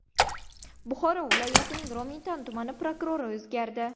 Buxoro viloyatining Romitan tumani prokurori o‘zgardi.